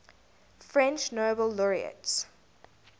french nobel laureates